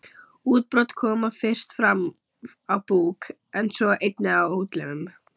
Útbrot koma fyrst fram á búk en svo einnig á útlimum.